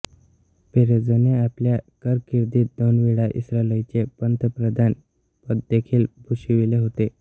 पेरेझने आपल्या कारकिर्दीत दोनवेळा इस्रायलचे पंतप्रधानपददेखील भूषविले होते